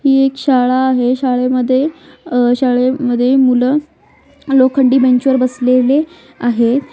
ही एक शाळा आहे शाळेमध्ये अह शाळेमध्ये मूल लोखंडी बेंचवर बसलेले आहेत.